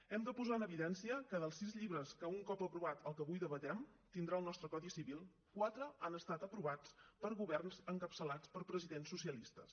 hem de posar en evidència que dels sis llibres que un cop aprovat el que avui debatem tindrà el nostre codi civil quatre han estat aprovats per governs encapçalats per presidents socialistes